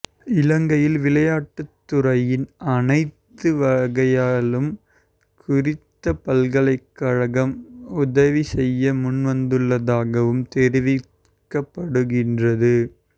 இலங்கையில் விளையாட்டுத் துறையின்னு அனைத்து வகையிலும் குறித்த பல்கலைக்கழகம் உதவி செய்ய முன்வந்துள்ளதாகவும் தெரிவிக்கப்படுகின்றது